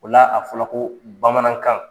O la , a fɔra ko Bamanankan